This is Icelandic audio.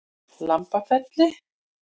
Lambafelli